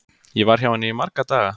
Ég var hjá henni í marga daga.